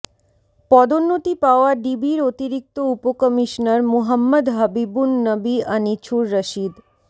পদোন্নতি পাওয়া ডিবির অতিরিক্ত উপকমিশনার মুহাম্মদ হাবীবুন নবী আনিছুর রশিদ